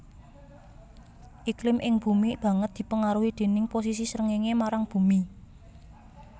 Iklim ing bumi banget dipangaruhi déning posisi srengéngé marang bumi